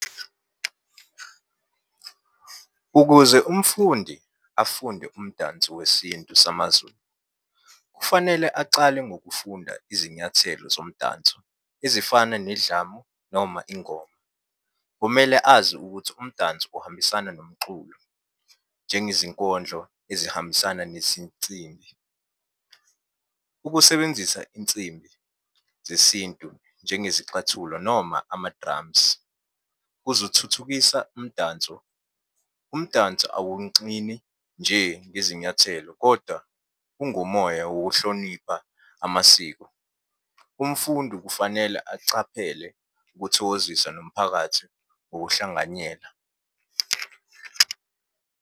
Ukuze umfundi afunde umdanso wesintu samaZulu, kufanele acale ngokufunda izinyathelo zomdanso ezifana nedlamu noma ingoma. Kumele azi ukuthi umdanso uhambisana nomxulo, njengezinkondlo ezihambisana nezinsimbi. Ukusebenzisa insimbi zesintu, njengezixathulo noma ama-drums, kuzothuthukisa umdanso. Umdanso awuncini nje ngezinyathelo, kodwa ungumoya wokuhlonipha amasiko. Umfundi kufanele acaphele ukuthokozisa nomphakathi ngokuhlanganyela.